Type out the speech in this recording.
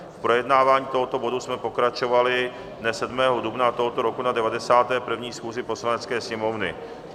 V projednávání tohoto bodu jsme pokračovali dne 7. dubna tohoto roku na 91. schůzi Poslanecké sněmovny.